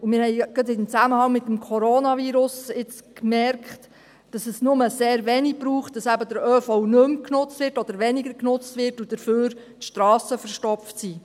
Wir haben in Zusammenhang mit dem Coronavirus gerade bemerkt, dass es sehr wenig braucht, bis der ÖV nicht mehr oder weniger genutzt wird und stattdessen die Strassen verstopft sind.